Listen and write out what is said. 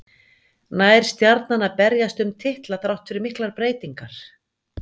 Nær Stjarnan að berjast um titla þrátt fyrir miklar breytingar?